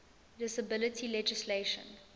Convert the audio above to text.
disability legislation